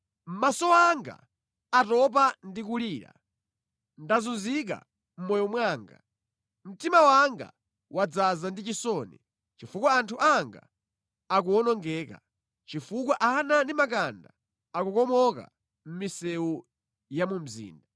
Maso anga atopa ndi kulira, ndazunzika mʼmoyo mwanga, mtima wanga wadzaza ndi chisoni chifukwa anthu anga akuwonongeka, chifukwa ana ndi makanda akukomoka mʼmisewu ya mu mzinda.